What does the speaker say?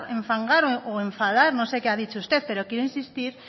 enfangar o enfadar no sé qué ha dicho usted pero quiero insistir